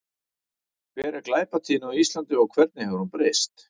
Hver er glæpatíðni á Íslandi og hvernig hefur hún breyst?